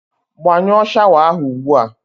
Gbanyụọ shawa ahụ ugbu a!